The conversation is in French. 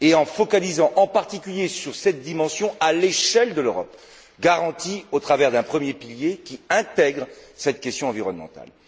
Elle doit se focaliser en particulier sur cette dimension à l'échelle de l'Europe et la garantir à travers un premier pilier qui intègre cette question environnementale.